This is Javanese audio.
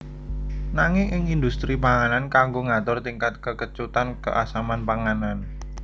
Nanging ing indhustri panganan kanggo ngatur tingkat kekecutan keasaman panganan